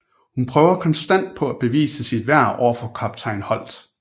Hun prøver konstant på at bevise sit værd overfor Kaptajn Holt